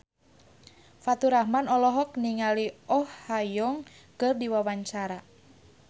Faturrahman olohok ningali Oh Ha Young keur diwawancara